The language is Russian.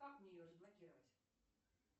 как мне ее разблокировать